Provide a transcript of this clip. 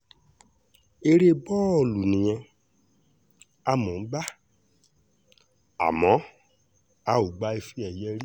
eré bọ́ọ̀lù nìyẹn á mọ̀ ọ́n gbà àmọ́ a ò gba ife-ẹ̀yẹ rí